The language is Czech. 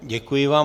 Děkuji vám.